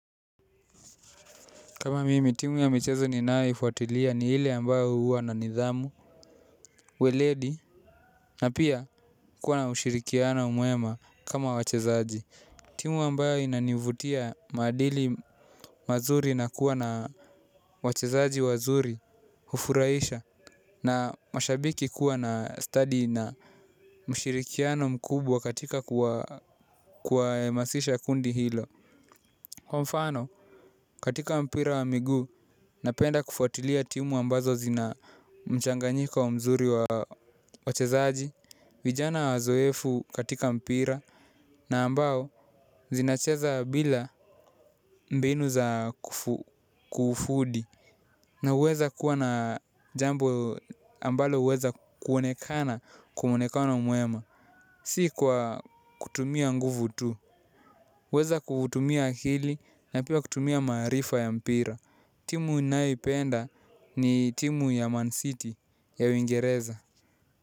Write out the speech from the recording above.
Kama mimi, timu ya michezo ninayoifuatilia ni hile ambayo huwa na nidhamu, uweledi, na pia kuwa na ushirikiana mwema kama wachezaji. Timu ambayo inanivutia maadili mazuri na kuwa na wachezaji wazuri, hufurahisha, na mashabiki kuwa na study na ushirikiano mkubwa katika kuwa emasisha kundi hilo. Kwa mfano katika mpira wa miguu napenda kufuatilia timu ambazo zina mchanganyiko wa mzuri wa chezaji. Vijana wazoefu katika mpira na ambao zinacheza bila mbinu za kufudi. Na uweza kuwa na jambo ambalo huweza kuonekana kwamwonekano mwema. Si kwa kutumia nguvu tu kuweza kutumia akili na pia kutumia marifa ya mpira. Timu naipenda ni timu ya Man City ya Uingereza.